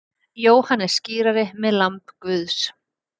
Jóhannes skírari með lamb Guðs.